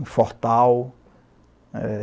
um fortal.